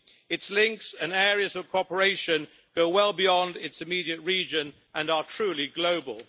Its links and areas of cooperation go well beyond its immediate region and are truly global.